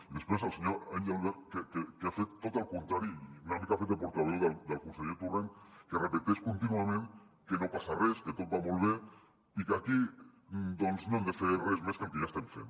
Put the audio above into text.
i després el senyor engelbert que ha fet tot el contrari i una mica ha fet de portaveu del conseller torrent que repeteix contínuament que no passa res que tot va molt bé i que aquí doncs no hem de fer res més que el que ja estem fent